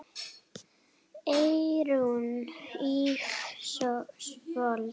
Eyrún Ísfold.